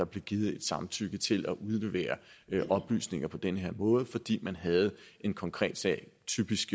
givet et samtykke til at udlevere oplysninger på den her måde fordi man havde en konkret sag typisk